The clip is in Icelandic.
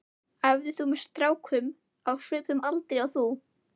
Æfðir þú með strákum á svipuðum aldri og þú?